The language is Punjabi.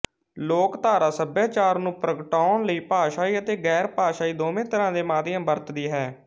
ਲੋਕਧਾਰਾ ਸਭਿਆਚਾਰ ਨੂੰ ਪ੍ਰਗਟਾਉਣ ਲਈ ਭਾਸ਼ਾਈ ਅਤੇ ਗੈਰਭਾਸ਼ਾਈ ਦੋਵੇਂ ਤਰ੍ਹਾਂ ਦੇ ਮਾਧਿਅਮ ਵਰਤਦੀ ਹੈ